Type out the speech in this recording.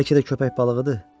Bəlkə də köpək balığıdır.